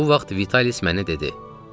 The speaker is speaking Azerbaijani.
Bu vaxt Vitalis mənə dedi: